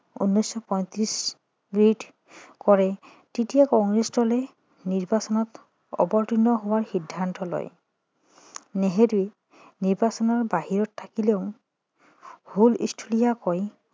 কৰে তেতিয়া কংগ্ৰেছ দলে নিৰ্বাচনত অৱৰ্তীৰ্ণ হোৱাৰ সিদ্ধান্ত লয় নেহেৰু নিৰ্বাচনৰ বাহিৰত থাকিলেও হুলস্থুলীয়াকৈ